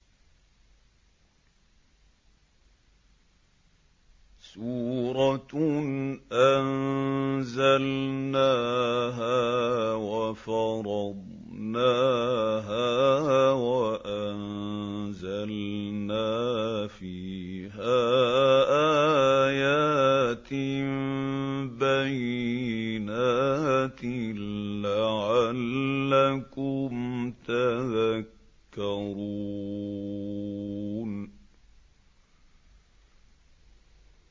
سُورَةٌ أَنزَلْنَاهَا وَفَرَضْنَاهَا وَأَنزَلْنَا فِيهَا آيَاتٍ بَيِّنَاتٍ لَّعَلَّكُمْ تَذَكَّرُونَ